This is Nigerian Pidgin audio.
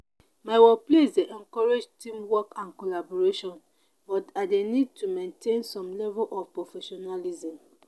my workplace dey encourage teamwork and collaboration but i dey need to maintain some level of professionalism.